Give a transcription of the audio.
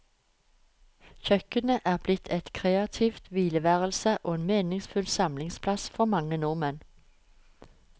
Kjøkkenet er blitt et kreativt hvileværelse og en meningsfull samlingsplass for mange nordmenn.